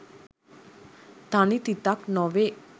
තනි තිතක් නොවේ.